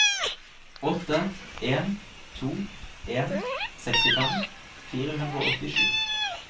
åtte en to en sekstifem fire hundre og åttisju